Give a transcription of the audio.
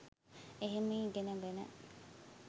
එහෙම ඉගෙනගෙන